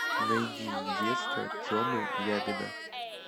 найди детство темы ябеда